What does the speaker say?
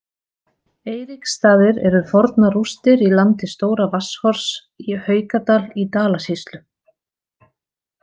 Eiríksstaðir eru fornar rústir í landi Stóra-Vatnshorns í Haukadal í Dalasýslu.